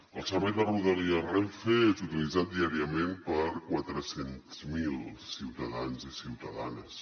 el servei de rodalies renfe és utilitzat diàriament per quatre cents miler ciutadans i ciutadanes